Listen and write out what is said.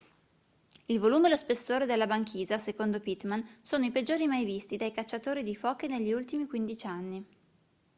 il volume e lo spessore della banchisa secondo pittman sono i peggiori mai visti dai cacciatori di foche negli ultimi 15 anni